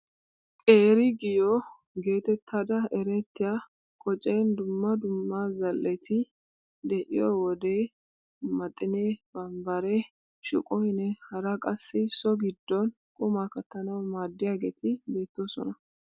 Qeeri giyoo getettada erettiyaa qocen dumma dumma zal"eti de'iyoo wode maxinee, bambbaree, shuqoynne hara qassi so giddon qumaa kattanawu maaddiyaageti beettoosona.